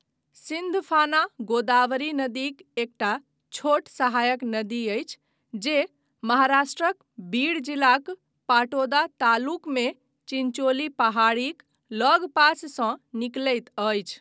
सिन्धफाना गोदावरी नदीक एकटा छोट सहायक नदी अछि जे महाराष्ट्रक बीड जिलाक पाटोदा तालुकमे चिञ्चोली पहाड़ीक लगपाससँ निकलैत अछि।